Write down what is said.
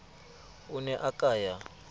o ne a ka ya